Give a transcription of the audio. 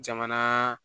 Jamana